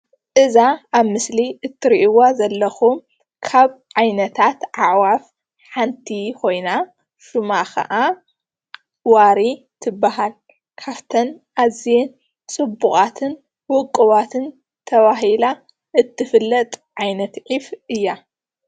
እዛ ኣብ ምስሊ እትርእይዋ ዘለኩም ካብ ዓይነታት ኣዕዋፍ ሓንቲ ኮይና ሽማ ከዓ ዋሪ ትባሃል። ካብተን ኣዝየን ጽቡቃትን ዉቁባትን ተባሂላ እትፍለጥ ዓይነት ዒፍ እያ።